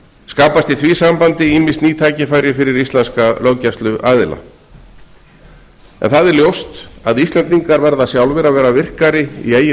skapast í því sambandi ýmis ný tækifæri fyrir íslenska löggæsluaðila það er ljóst að íslendingar verða sjálfir að vera virkari í eigin